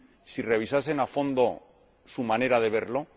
si revisasen a fondo su manera de verlo?